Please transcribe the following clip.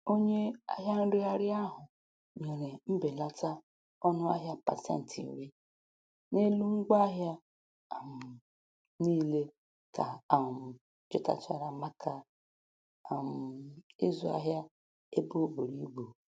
Onye ahịa nregharị ahụ nyere mbelata ọnụahịa pasentị iri n'elu ngwaahịa um niile ka um jụtachara maka um ịzụ ahịa ebe o buru ibu.